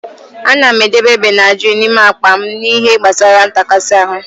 Ana m edebe Benadrịl n'ime akpa m n'ihe gbasara ntakasi ahụ.